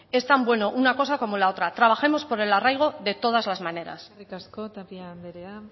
es tan bueno una cosa como la otra trabajemos por el arraigo de todas la maneras eskerrik asko tapia andrea